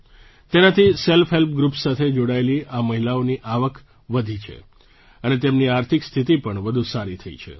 તેનાથી self help groups સાથે જોડાયેલી આ મહિલાઓની આવક વધી છે અને તેમની આર્થિક સ્થિતિ પણ વધુ સારી થઈ છે